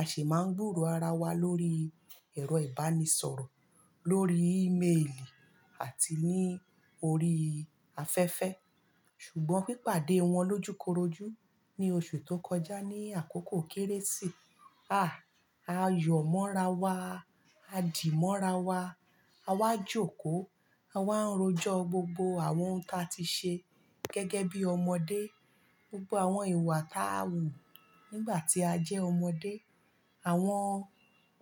a sì máa ń gbúro ara wa lórí ẹ̀rọ ìbánisọ̀rọ̀, lórí ímeèlì àti ní orí afẹ́fẹ́. Ṣùgbọ́n pípàdé wọn lójúkorojú ní osú tó kọjá ní àkókò kérésì ayomorawa adimorawa. A wá jókòó, a wá ń rojọ gbogbo àwọn ohun ta ti ṣe gẹ́gẹ́ bí ọmọdé. Gbogbo àwọn ìwà tá a wù nígbà tí a jẹ́ ọmọdé. Àwọn